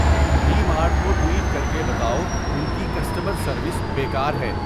D Mart کو tweet کر کے بتاؤ ان کی کسٹمر سروس بیکار ہے